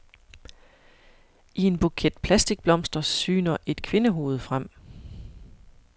I en buket plastikblomster syner et kvindehoved frem.